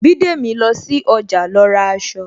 Bidemi lọ sí ọjà lọ ra aṣọ